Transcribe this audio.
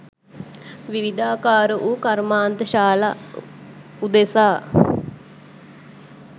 විවිධාකාර වූ කර්මාන්තශාලා උදෙසා